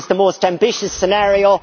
it is the most ambitious scenario.